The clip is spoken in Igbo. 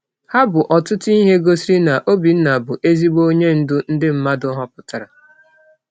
Ha bụ ọtụtụ ihe gosiri na Obinna bụ ezigbo onye ndu ndị mmadụ họpụtara.